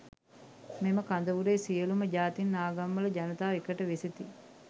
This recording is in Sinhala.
මෙම කඳවුරේ සියළුම ජාතීන් ආගම් වල ජනතාව එකට වෙසෙති.